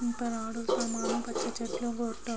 పచ్చ చెట్టులు --